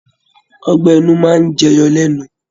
Ọgbẹ ẹnu máa n jẹ yọ lẹnu.